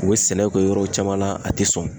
U be sɛnɛ kɛ yɔrɔ caman na ,a te sɔn.